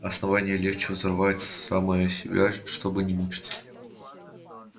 основание легче взорвать самое себя чтобы не мучиться